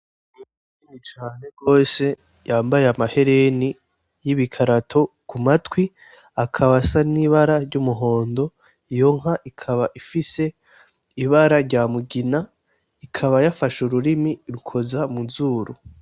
Inka nini cane gose yambaye amahereni y'ibikarato kumatwi, akaba asa n'ibara ry'umuhondo, iyo nka ikaba ifise ibara ry'umugina, ikaba yafashe ururimi irukuza muzuru.